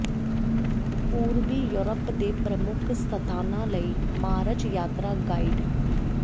ਪੂਰਬੀ ਯੂਰਪ ਦੇ ਪ੍ਰਮੁੱਖ ਸਥਾਨਾਂ ਲਈ ਮਾਰਚ ਯਾਤਰਾ ਗਾਇਡ